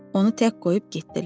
Onu tək qoyub getdilər.